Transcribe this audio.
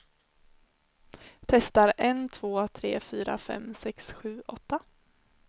Testar en två tre fyra fem sex sju åtta.